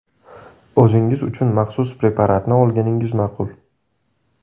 o‘zingiz uchun maxsus preparatni olganingiz ma’qul.